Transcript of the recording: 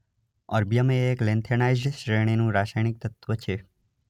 Erbium એ એક lanthanide શ્રેણીનું રાસાયણિક તત્વ છે.